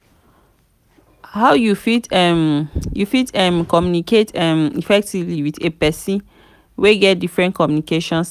how you fit um you fit um communicate um effectively with a pesin wey get different communication style?